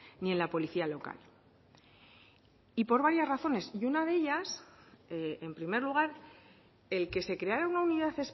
ni en la policía local y por varias razones y una de ellas en primer lugar el que se creara una unidad